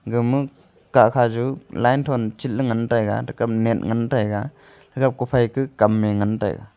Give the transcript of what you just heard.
gama kahkha juh line thon chit ley ngantaiga thekape net ngantaiga thekape kophai keh kamye ngantaiga.